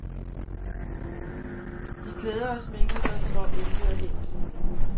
De klæder og sminker sig, som om intet er hændt.